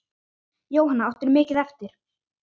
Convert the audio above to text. Jóhanna: Áttirðu mikið eftir?